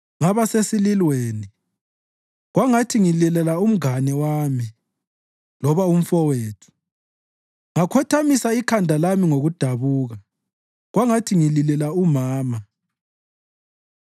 ngaba sesililweni kwangathi ngililela umngane wami loba umfowethu. Ngakhothamisa ikhanda lami ngokudabuka kwangathi ngililela umama.